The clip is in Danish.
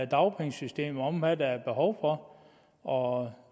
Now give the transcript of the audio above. dagpengesystemet om hvad der er behov for og